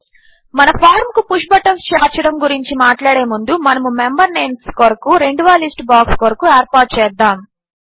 మన ఫార్మ్ కు push buttons చేర్చడము గురించి మాట్లాడే ముందు మనము మెంబర్ నేంస్ కొరకు రెండవ లిస్ట్ బాక్స్ కొరకు ఏర్పాటు చేద్దాము